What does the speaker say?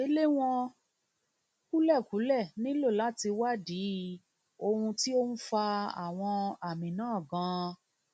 ìgbéléwọn kúlẹkúlẹ nílò láti wádìí ohun tí ó ń fa àwọn àmì náà ganan